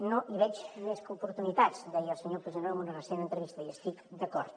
no hi veig més que oportunitats deia el senyor puigneró en una recent entrevista hi estic d’acord